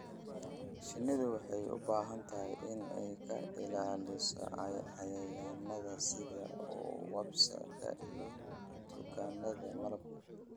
Shinnidu waxay u baahan tahay in ay ka ilaaliso cayayaannada sida wasps-ka iyo kutaannada malabka.